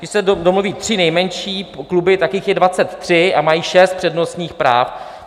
Když se domluví tři nejmenší kluby, tak jich je 23 a mají šest přednostních práv.